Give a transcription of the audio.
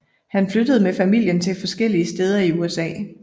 Han flyttede med familien til forskellige steder i USA